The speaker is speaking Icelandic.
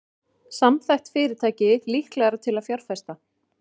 Samþætt fyrirtæki líklegra til að fjárfesta